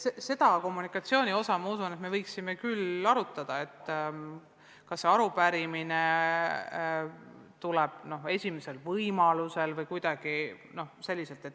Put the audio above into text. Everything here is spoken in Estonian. Selle kommunikatsiooni aspekti üle me võiksime tõesti arutada, et kas arupärimisele tuleb vastata esimesel võimalusel või mitte.